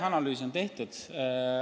Analüüs on tehtud.